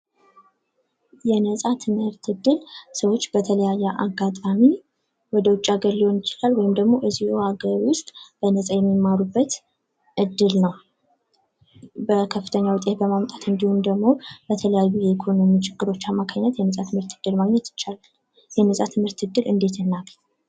የነጻ ትምህርት እድል ሰዎች በተለያየ አጋጣሚ ወደ ውጭ ሀገር ሊሆን ይችላል ወይም ደግሞ እዚሁ ሃገር ውስጥ በነጻ የሚማሩበት እድል ነው። በከፍተኛ ውጤት በማምጣት ወይም ደግሞ የተለያዩ የኢኮኖሚ ችግሮች አማካኝነት የነጻ ትምህርት እድል ማግኘት ይቻላል። የነጻ ትምህርት እድል እንዴት እናግኝ?